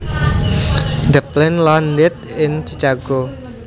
The plane landed in Chicago